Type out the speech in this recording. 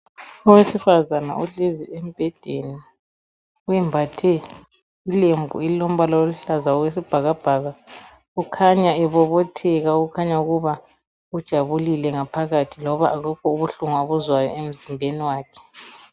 Owesifazana ohlezi embhedeni wembathe ilembu elilombala oluhlaza owesibhakabhaka okhanya ebobotheka okhanya ukuba ujabulile ngaphakathi loba abukho ubuhlungu abuzwayo emzimbeni wakhe.